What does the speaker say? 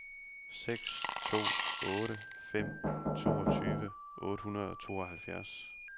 seks to otte fem toogtyve otte hundrede og tooghalvfjerds